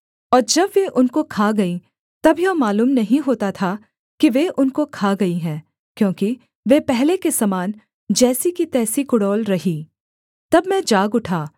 और जब वे उनको खा गईं तब यह मालूम नहीं होता था कि वे उनको खा गई हैं क्योंकि वे पहले के समान जैसी की तैसी कुडौल रहीं तब मैं जाग उठा